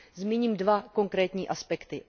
Zmíním dva konkrétní aspekty.